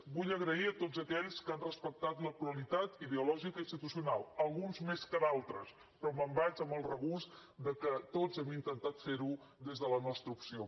vull agrair a tots aquells que han respectat la pluralitat ideològica i institucional alguns més que altres però me’n vaig amb el regust que tots hem intentat ferho des de la nostra opció